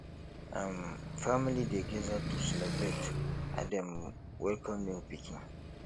um family dey gather to celebrate as dem welcome new pikin